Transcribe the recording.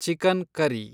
chicken curry